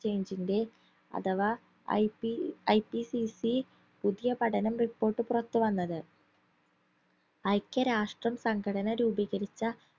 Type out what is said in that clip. change ന്റെ അഥവാ IPIPCC പുതിയപഠനം report പുറത്തുവന്നത് ഐക്യരാഷ്ട്രം സംഘടന രൂപീകരിച്ച